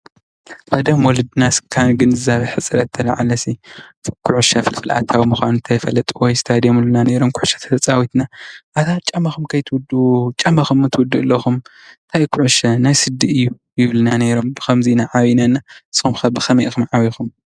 ቀደም ወለድና ካብ ግንዛቤ ሕፅረት ዝተልዓለሲ ኩዕሶ ፍልፍል ኣታዊ ምኳኑ እንተይፈለጡ እንታይ ድዮም ዝብሉና ንይሮም። ኩዕሶ ተተጫዊትና ኣታ ጫማኩም ከይትውድኡ። ጫማኩም ትውድኡ አለኩም። ኣይ ኩዕሶ ናይ ስዲ እዩ ይብሉና ኔሮም። ብከምዚ ኢና ዓብይና እና ንስኹም ከ ብ ከመይ ኢኩም ዓብይኩም?